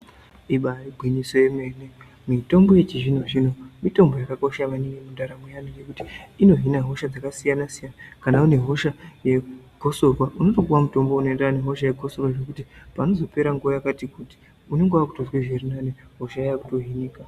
Ibari gwinyiso yemene mitombo yechizvino-zvino mitombo yakakosha maningi mundaramo yevantu. Ngekuti inohina hosha dzakasiyana-siyana kana une hosha yegosorwa unotopuva mutombo unoenderana nehosha yegosorwa. Zvekuti panozopera nguva yakati kuti unonga vakutozwe zvirinani hosha iya yakutohinika.